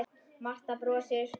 Marta brosir.